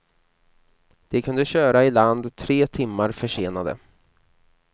De kunde köra i land tre timmar försenade.